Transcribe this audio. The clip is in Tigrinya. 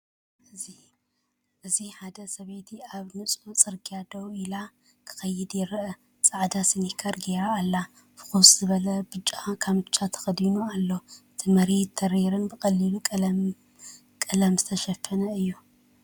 እዚ ሓደ ሰበይቲ ኣብ ንጹር ጽርግያ ደው ኢሉ ክኸይድ ይርአ። ጻዕዳ ስኒከር ገይራ ኣላ። ፍኹስ ዝበለ ብጫ ካምቻ ተኸዲኑ ኣሎ። እቲ መሬት ተሪርን ብቐሊል ቀለም ዝተሸፈነን እዩ።